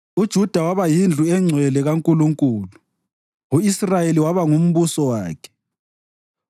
uJuda waba yindlu engcwele kaNkulunkulu, u-Israyeli waba ngumbuso wakhe.